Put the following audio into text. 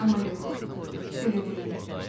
Amma yox, belə deyil.